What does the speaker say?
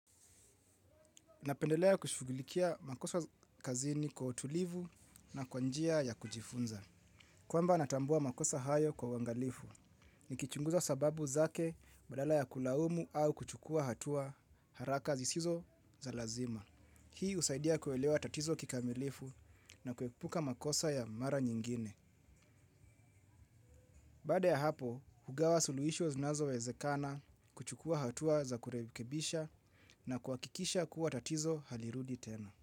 Napendelea kushugulikia makosa kazini kwa utulivu na kwa njia ya kujifunza. Kwamba natambua makosa hayo kwa uangalifu. Nikichunguza sababu zake badala ya kulaumu au kuchukua hatua haraka zisizo za lazima. Hii husaidia kuelewa tatizo kikamilifu na kuepuka makosa ya mara nyingine. Baade ya hapo, hugawa suluisho zinazowezekana kuchukua hatua za kurekebisha na kuhakikisha kuwa tatizo halirudi tena.